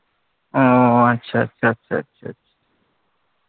ও আচ্ছা আচ্ছা